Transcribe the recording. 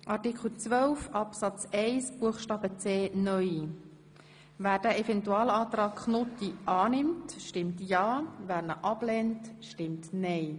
Wer den Even tualantrag zu Artikel 12 Absatz 1 Buchstabe c (neu) annimmt, stimmt ja, wer dies ablehnt, stimmt nein.